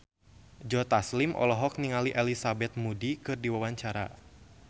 Joe Taslim olohok ningali Elizabeth Moody keur diwawancara